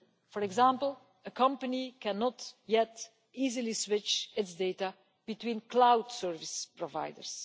For example, a company cannot yet easily switch its data between cloud service providers.